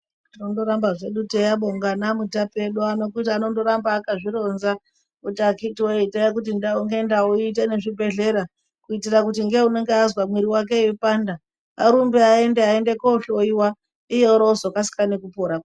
Tongoramba hedu teiabonga anamutape edu ano kuti anonoramba akazvironza kuti akhiti woye itai kuti ndau nendau iyite nezvibhedhlera kuitira kuti ngeunenge azwa mwiri sake weipanda arumbe aende aende kuhloyiwa iye orozokasika nekupora.